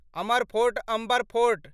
Amar fort Amber fort